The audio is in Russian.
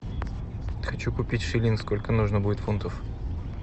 хочу купить шиллинг сколько нужно будет фунтов